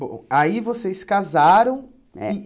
Bom, aí vocês se casaram. É